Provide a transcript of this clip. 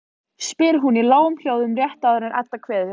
spyr hún í lágum hljóðum rétt áður en Edda kveður.